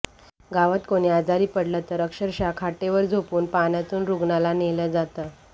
गावात कोणी आजारी पडलं तर अक्षरशः खाटेवर झोपवून पाण्यातून रूग्णाला नेलं जातं